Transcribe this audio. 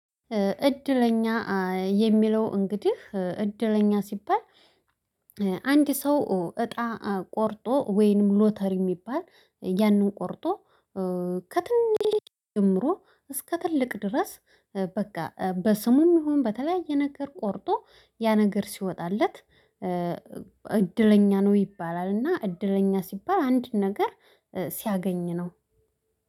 እድለኛ የሚለው እንግዲህ እድለኛ ሲባል። አንድ ሰው እጣ ቆርጦ ወይንም ሎተሪ የሚባል ያንን ቆርጦ ከትንሽ ጀምሮ እስከ ትልቅ ድረስ በቃ በስሙም ይሁን በተለያየ ነገር ቆርጦ ያ ነገር ሲወጣለት። እድለኛ ነው ይባላል እና እድለኛ ሲባል አንድ ነገር ሲያገኝ ነው።